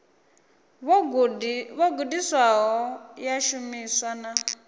vho gudisiwaho ya shumiswa na